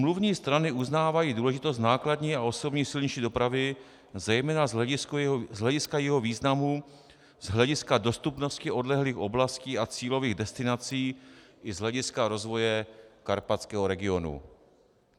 Smluvní strany uznávají důležitost nákladní a osobní silniční dopravy, zejména z hlediska jejího významu, z hlediska dostupnosti odlehlých oblastí a cílových destinací i z hlediska rozvoje karpatského regionu.